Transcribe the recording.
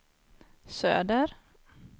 söder